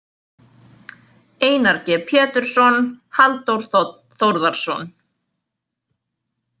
Einar G Pétursson, Halldór Þ Þórðarson.